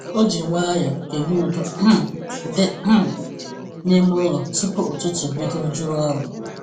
Ọ ji nwayọọ kele udo um dị um n’ime ụlọ tupu ụtụtụ bido juru ọrụ.